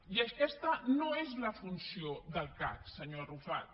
i aquesta no és la funció del cac senyor arrufat